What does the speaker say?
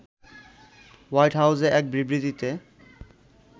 white হাউজে এক বিবৃতিতে